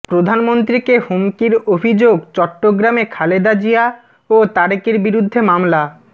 প্রধানমন্ত্রীকে হুমকির অভিযোগ চট্টগ্রামে খালেদা জিয়া ও তারেকের বিরুদ্ধে মামলা